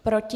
Proti?